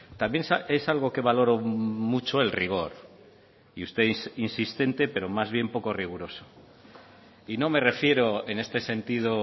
también es algo que valoro mucho el rigor y usted es insistente pero más bien poco riguroso y no me refiero en este sentido